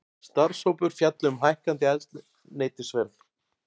Starfshópur fjalli um hækkandi eldsneytisverð